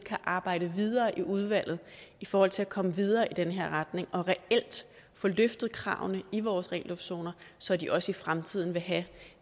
kan arbejde videre i udvalget i forhold til at komme videre i den her retning og reelt få løftet kravene i vores ren luft zoner så de også i fremtiden vil have